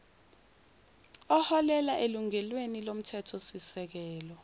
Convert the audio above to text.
uholele elungelweni lomthethosisekelo